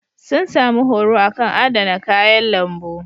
Sun sami horo a kan adana kayan lambu.